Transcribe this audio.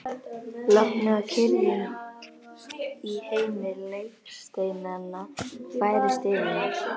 Lognið og kyrrðin í heimi legsteinanna færist yfir mig.